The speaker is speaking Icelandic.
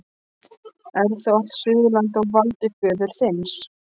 Er þá allt Suðurland á valdi föður þíns?